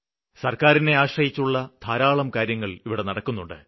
സര്ക്കാരിനെ ആശ്രയിച്ചുള്ള ധാരാളം കാര്യങ്ങള് ഇവിടെ നടക്കുന്നുണ്ട്